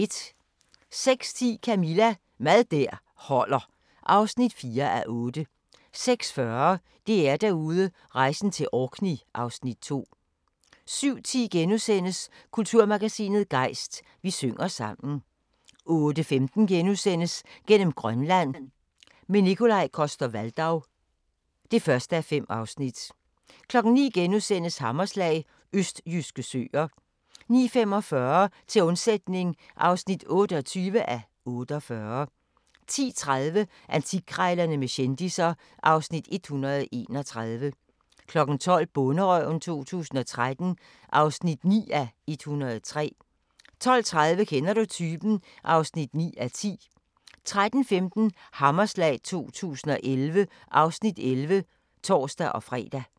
06:10: Camilla – Mad der holder (4:8) 06:40: DR-Derude: Rejsen til Orkney (Afs. 2) 07:10: Kulturmagasinet Gejst: Vi synger sammen * 08:15: Gennem Grønland – med Nikolaj Coster-Waldau (1:5)* 09:00: Hammerslag – østjyske søer * 09:45: Til undsætning (28:48) 10:30: Antikkrejlerne med kendisser (Afs. 131) 12:00: Bonderøven 2013 (9:103) 12:30: Kender du typen? (9:10) 13:15: Hammerslag 2011 (Afs. 11)(tor-fre)